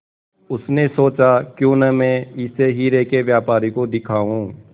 उसने सोचा क्यों न मैं इसे हीरे के व्यापारी को दिखाऊं